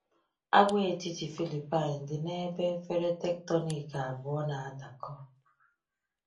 Agwaetiti Philippine dị n’ebe efere tectonic abụọ na-adakọ.